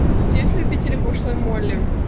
есть любители пошлая молли